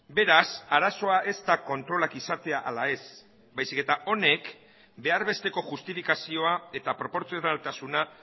beraz arazoa ez da kontrolak izatea ala ez baizik eta honek behar besteko justifikazioa eta proportzionaltasuna